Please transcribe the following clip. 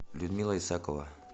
людмила исакова